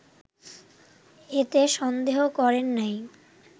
এতে সন্দেহ করেন নাই